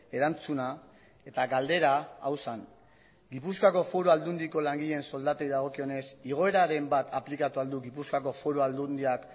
erantzuna eta galdera hau zen gipuzkoako foru aldundiko langileen soldatei dagokionez igoeraren bat aplikatu al du gipuzkoako foru aldundiak